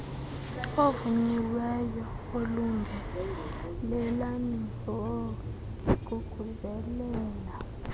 ovunyiweyo wolungelelaniso nokuququzelela